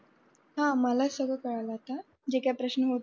हा माला समजल आता. जे का प्रश्न होथा.